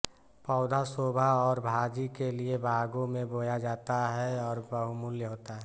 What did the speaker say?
पौधा शोभा और भाजी के लिये बागों में बोया जाता है और बहुमूल्य होता है